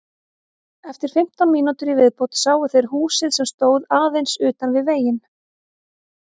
Eftir fimmtán mínútur í viðbót sáu þeir húsið sem stóð aðeins utan við veginn.